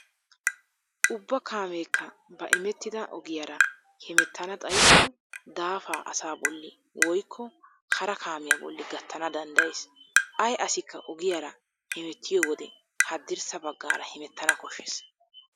Ubba kaameekka ba imettida ogiyaara hemettana xayikko daafaa asa bolli woykko hara kaamiyaa bolli gattana danddayees. Ay asikka ogiyaara hemettiyo wode haddirssa baggaara hemettana koshshees.